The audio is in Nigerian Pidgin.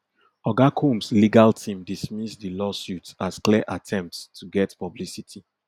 oga combs legal team dismiss di lawsuits as clear attempts to get publicity